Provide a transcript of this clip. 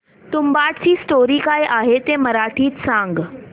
तुंबाडची स्टोरी काय आहे ते मराठीत सांग